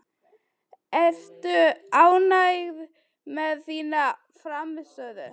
Ertu ánægð með þína frammistöðu?